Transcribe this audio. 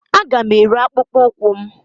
Aga m ere akpụkpọ ụkwụ m